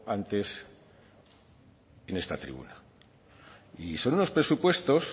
antes en esta tribuna y son unos presupuestos